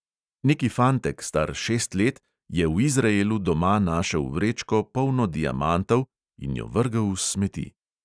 Neki fantek, star šest let, je v izraelu doma našel vrečko, polno diamantov, in jo vrgel v smeti.